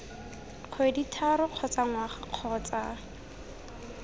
kgwedi tharo kgotsa ngwaga kgotsa